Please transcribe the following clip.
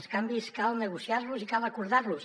els canvis cal negociar los i cal acordar los